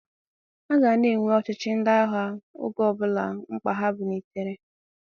A ga a na-enwe ọchịchị ndị agha oge ọbụla mkpa ya pulitere.